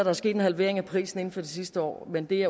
er sket en halvering af prisen inden for det sidste år men det